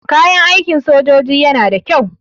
Kayan aikin sojoji yana da kyau.